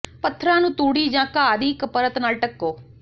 ਪੱਥਰਾਂ ਨੂੰ ਤੂੜੀ ਜਾਂ ਘਾਹ ਦੀ ਇੱਕ ਪਰਤ ਨਾਲ ਢੱਕੋ